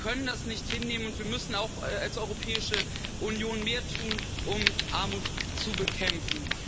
Wir können das nicht hinnehmen und wir müssen auch als Europäische Union mehr tun, um Armut zu bekämpfen.